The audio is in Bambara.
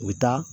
U bɛ taa